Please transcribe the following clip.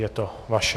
je to vaše.